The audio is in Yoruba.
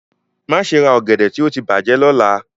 Maṣe ra ogede ti o ti bajẹ lọla!